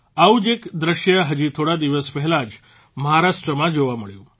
આવું જ એક દ્રશ્ય હજી થોડા દિવસ પહેલાં જ મહારાષ્ટ્રમાં જોવા મળ્યું